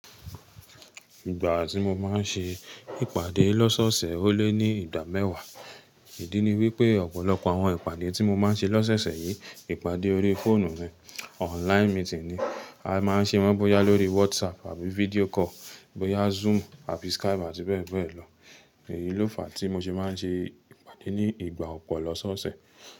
Ìgbà tí mo máa ń ṣe ìpàdé lọ́sọ́ọ̀ọ̀sẹ̀ ó lé ní ìgbà mẹ́wàá. Ìdí ni wí pé ọ̀pọ̀lọpọ̀ àwọn ìpàdé tí mo máa ń ṣe lọ́sẹ̀esẹ̀ yìí, ìpàdé orí fóònù ni, online meeting ni. A máa ń ṣe wọ́n bóyá lórí WhatsApp àbí video call, bóyá Zoom àbí Skype àti bẹ́ẹ̀ bẹ́ẹ̀ lọ. Èyí ló fà á tí mo ṣe máa ń ṣe ìpàdé ní ìgbà ọ̀pọ̀ lọ́sọ́ọ̀ọ̀sẹ̀.